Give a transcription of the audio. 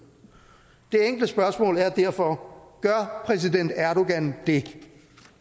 det enkle spørgsmål er derfor gør præsident erdogan det